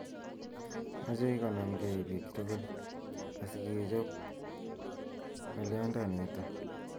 Mochei konamkei bik tugul asikechop ngolyondonito